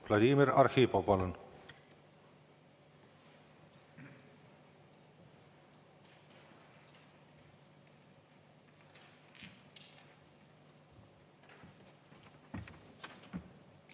Vladimir Arhipov, palun!